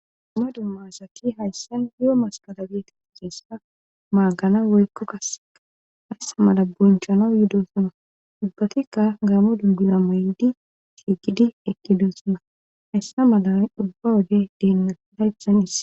Duuma dumma asaki hayssan yoo maskadageti giseessa maagana woykko kasseka haysa mala bonchanaw yudosona ubbatikka gaamo dubbina may7di tiigidi ekkidossona hayssa malan ubba wode deennasidaythan iss.